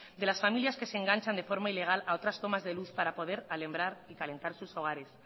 de las familias que se enganchan de forma ilegal a otras tomas de luz para poder alumbrar y calentar sus hogares